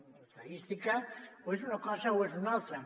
l’estadística o és una cosa o és una altra